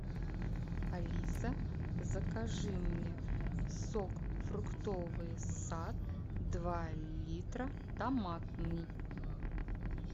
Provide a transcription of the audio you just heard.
алиса закажи мне сок фруктовый сад два литра томатный